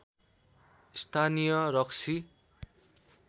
स्‍थानीय रक्सी